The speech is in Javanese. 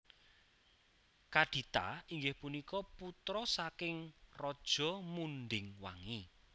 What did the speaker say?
Kadita inggih punika putra saking Raja Munding Wangi